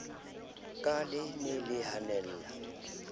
ka le ne le hanella